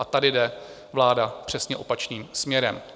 A tady jde vláda přesně opačným směrem.